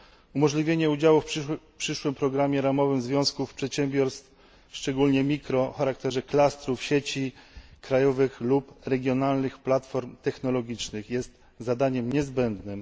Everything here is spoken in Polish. Umożliwienie udziału w przyszłym programie ramowym związkom, przedsiębiorstwom, szczególnie mikroprzedsiębiorstwom, w charakterze klastrów, sieci krajowych lub regionalnych platform technologicznych jest zadaniem niezbędnym.